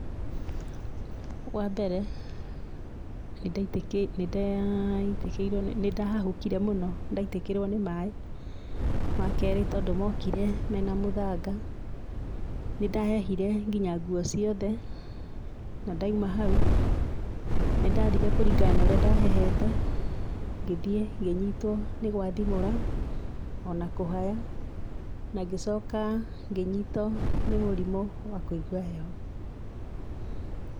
Wa mbere, nĩndahahũkĩre mũno ndaitĩkirwo nĩ mai. Wakerĩ, tondũ mokire mena mũthanga, nĩndahehire nginya nguo ciothe, na ndaima hau, nĩndathire kuringana na ũrĩa ndahehete ngĩthie ngĩnyitwo nĩ gwathimũra ona kũhaya na ngĩcoka ngĩnyitwo nĩ mũrimũ wa kũigua heho.